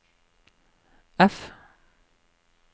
F